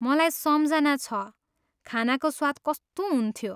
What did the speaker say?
मलाई सम्झना छ, खानाको स्वाद कस्तो हुन्थ्यो।